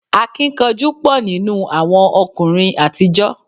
Akíkanjú pọ̀ nínú àwọn ọkùnrin àtijọ́